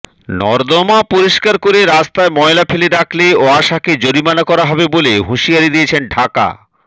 নর্দমা পরিষ্কার করে রাস্তায় ময়লা ফেলে রাখলে ওয়াসাকে জরিমানা করা হবে বলে হুঁশিয়ারি দিয়েছেন ঢাকা